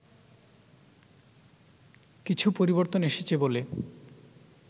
কিছু পরিবর্তন এসেছে বলে